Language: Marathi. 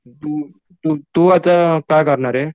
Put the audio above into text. तू तू आता काय करणार ये?